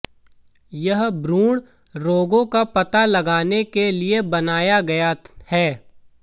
यह भ्रूण रोगों का पता लगाने के लिए बनाया गया है